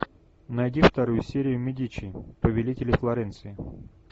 найди вторую серию медичи повелители флоренции